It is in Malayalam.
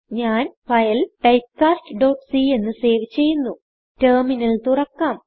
ഞാൻ ഫയൽ typecastcഎന്ന് സേവ് ചെയ്യുന്നു ടെർമിനൽ തുറക്കാം